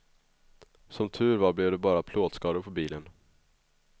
Som tur var blev det bara plåtskador på bilen.